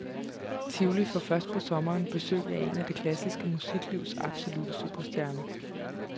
Tivoli får først på sommeren besøg af en af det klassiske musiklivs absolutte superstjerner.